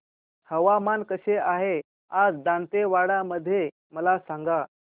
हवामान कसे आहे आज दांतेवाडा मध्ये मला सांगा